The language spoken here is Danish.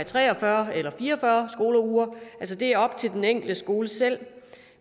tre og fyrre eller fire og fyrre skoleuger det er op til den enkelte skole selv